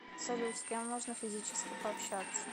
салют с кем можно физически пообщаться